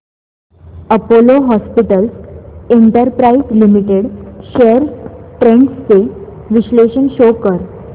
Apollo hospitals enterprise limited shares trends चे विश्लेषण show कर